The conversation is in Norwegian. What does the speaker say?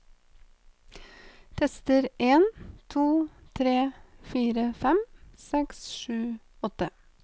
Tester en to tre fire fem seks sju åtte